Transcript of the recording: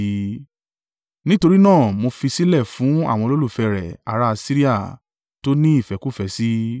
“Nítorí náà mo fi i sílẹ̀ fún àwọn olólùfẹ́ rẹ̀, ará Asiria, tí ó ní ìfẹ́kúfẹ̀ẹ́ sí i.